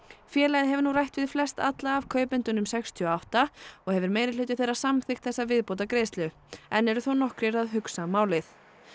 félagið hefur nú rætt við flestalla af kaupendunum sextíu og átta og hefur meirihluti þeirra samþykkt þessa viðbótargreiðslu enn eru þó nokkrir að hugsa málið